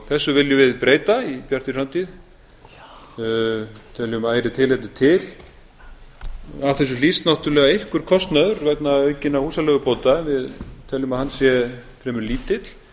þessu viljum við breyta í bjartri framtíð teljum ærið tilefni til af þessu hlýst náttúrlega einhver kostnaður vegna aukinna húsaleigubóta við teljum að hann sé fremur lítill